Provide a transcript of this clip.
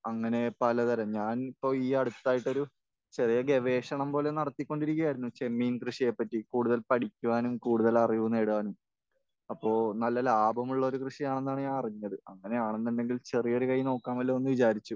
അങ്ങനെ പലതരം. ഞാൻ ഇപ്പോൾ ഈ അടുത്തായിട്ടൊരു ചെറിയ ഗവേഷണം പോലെ നടത്തിക്കൊണ്ടിരിക്കുകയായിരുന്നു. ചെമ്മീൻ കൃഷിയെപ്പറ്റി കൂടുതൽ പഠിക്കുവാനും കൂടുതൽ അറിവ് നേടാനും. അപ്പോൾ നല്ല ലാഭമുള്ളൊരു കൃഷിയാണെന്നാണ് ഞാൻ അറിഞ്ഞത്. അങ്ങനെയാണെന്നുണ്ടെങ്കിൽ ചെറിയൊരു കൈ നോക്കാമല്ലോ എന്ന് വിചാരിച്ചു.